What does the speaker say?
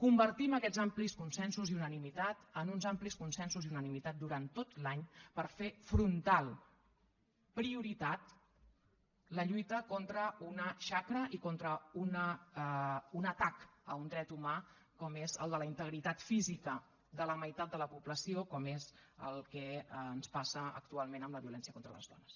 convertim aquests amplis consensos i unanimitat en uns amplis consensos i unanimitat durant tot l’any per fer frontal prioritat la lluita contra una xacra i contra un atac a un dret humà com és el de la integritat física de la meitat de la població com és el que ens passa actualment amb la violència contra les dones